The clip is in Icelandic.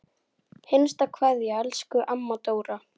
HINSTA KVEÐJA Elsku amma Dóra.